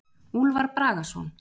Úlfar Bragason.